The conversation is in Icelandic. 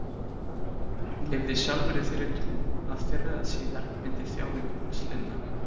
Hann lifði sjálfur í þeirri trú að fyrr eða síðar myndi þjáningum hans linna.